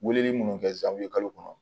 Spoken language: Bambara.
Weleli minnu kɛ zandi kalo kɔnɔ